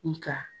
Nga